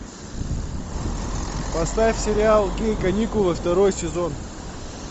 поставь сериал гей каникулы второй сезон